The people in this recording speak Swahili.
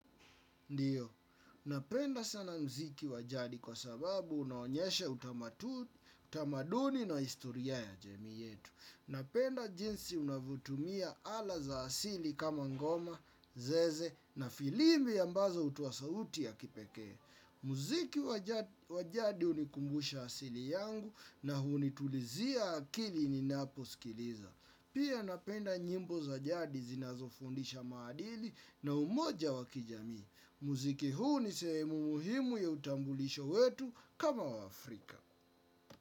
Ndiyo, napenda sana muziki wa jadi kwa sababu unaonyeshe utamaduni na historia ya jamii yetu. Napenda jinsi unavotumia ala za asili kama ngoma, zeze na filimbi ambazo hutua sauti ya kipekee. Muziki wa jadi hunikumbusha asili yangu na hunitulizia akili ninaposikiliza. Pia napenda nyimbo za jadi zinazofundisha maadili na umoja wa kijamii. Muziki huu ni sehemu muhimu ya utambulisho wetu kama waAfrika.